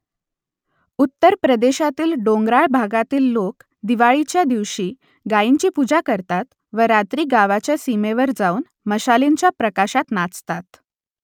उत्तर प्रदेशातील डोंगराळ भागातील लोक दिवाळीच्या दिवशी गायींची पूजा करतात व रात्री गावाच्या सीमेवर जाऊन मशालींच्या प्रकाशात नाचतात